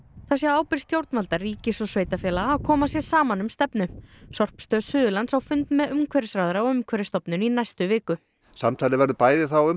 það sé á ábyrgð stjórnvalda ríkis og sveitarfélaga að koma sér saman um stefnu sorpstöð Suðurlands á fund með umhverfisráðherra og Umhverfisstofnun í næstu viku samtalið verður bæði þá um